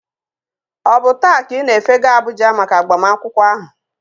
Ọ bụ taa ka ị na-efega Abuja maka agbamakwụkwọ ahụ?